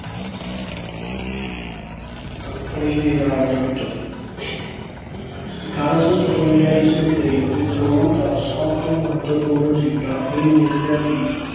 company ਦੇ ਰਾਜ ਅੰਤ ਅਠਾਰਾਂ ਸੌ ਸਤਵੰਜਾ ਈਸਵੀ ਦੇ ਵਿਦਰੋਹ ਦਾ ਸਭ ਤੋਂ ਮਹੱਤਵਪੂਰਨ ਸਿੱਟਾ ਇਹ ਨਿਕਲਿਆ ਕਿ